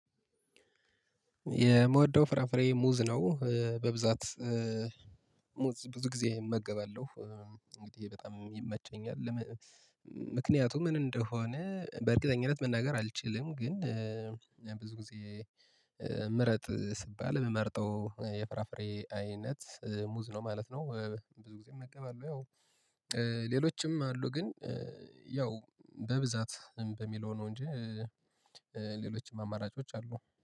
የምወደው ፍራፍሬ ሙዝ ነው። በብዛት ሙዝ ብዙ ጊዜ እመገባለሁ፣ እንግዲህ በጣም ይመቸኛል። ምክንያቱም ምን እንደሆነ በእርግጠኝነት መናገር አልችልም፣ ግን ብዙ ጊዜ ምረጥ ስባል ምመርጠው የፍራፍሬ አይነት ሙዝ ነው ማለት ነው። ብዙ ጊዜ እመገባለው። ያው ሌሎችም አሉ ግን ያው በብዛት በሚለው ነው እንጂ ሌሎችም አማራጮች አሉ።